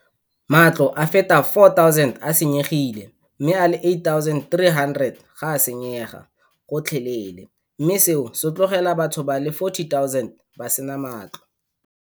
Matlo a feta 4 000 a senyegile mme a le 8 300 ga a senyega gotlhelele, mme seo se tlogela batho ba le 40 000 ba sena matlo.